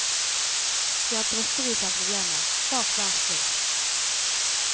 Vi har drøssevis av problemer, bak hver sving.